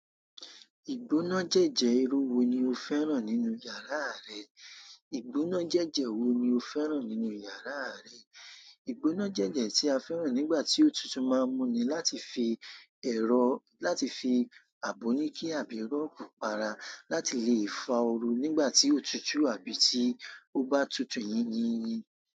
Ìgbónájẹ́jẹ́ irú wo ni o fẹ́ràn nínú yàrá rẹ? Ìgbónájẹ́jẹ́ wo ni o fẹ́ràn nínú yàrá rẹ? Ìgbónájẹ́jẹ́ tí a fẹ́ràn nígbà tí ótutu máa ń múni láti fi ẹ̀rọ láti fi Aboniki àbí ron pa ara, láti lè fàá ooru àbí tó òtútù tóbá tutù yìnyín.